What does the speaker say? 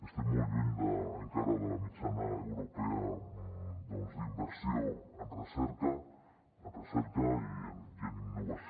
estem molt lluny encara de la mitjana europea d’inversió en recerca i en innovació